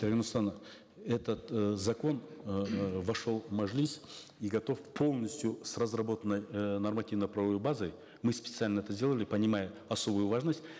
дарига нурсултановна этот э закон эээ вошел в мажилис и готов полностью с разработанной э нормативно правовой базой мы специально это сделали понимая особую важность